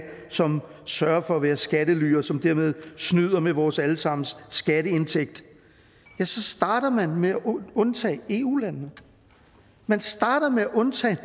som sørger for at være skattely og som dermed snyder med vores alle sammens skatteindtægt ja så starter man med at undtage eu landene man starter med at undtage